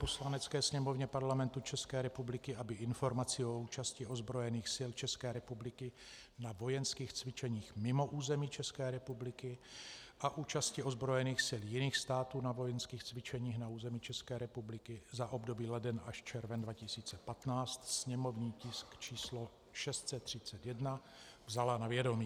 Poslanecké sněmovně Parlamentu České republiky, aby Informaci o účasti ozbrojených sil České republiky na vojenských cvičeních mimo území České republiky a účasti ozbrojených sil jiných států na vojenských cvičeních na území České republiky za období leden až červen 2015, sněmovní tisk číslo 631, vzala na vědomí.